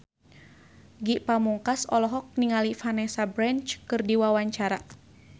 Ge Pamungkas olohok ningali Vanessa Branch keur diwawancara